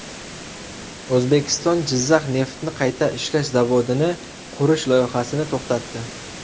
O‘zbekiston Jizzax neftni qayta ishlash zavodini qurish loyihasini to‘xtatdi.